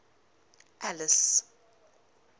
alice